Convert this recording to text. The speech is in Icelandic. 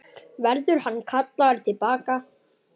Verður hann kallaður til baka?